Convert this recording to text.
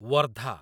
Wardha